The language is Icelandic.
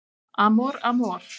Amor Amor